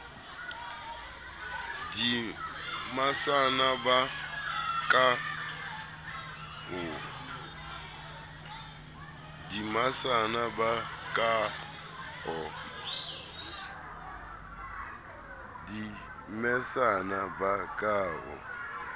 di mesana ba ka o